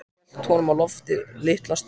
Hélt honum á lofti litla stund.